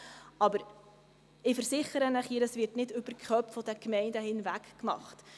Aber ich versichere Ihnen hier, dies wird nicht über die Köpfe der Gemeinden hinweg gemacht.